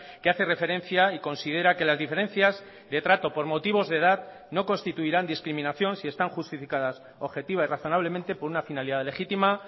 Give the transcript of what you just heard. que hace referencia y considera que las diferencias de trato por motivos de edad no constituirán discriminación si están justificadas objetiva y razonablemente por una finalidad legítima